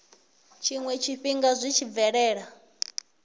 tshiwe tshifhinga zwi tshi bvelela